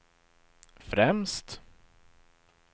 främst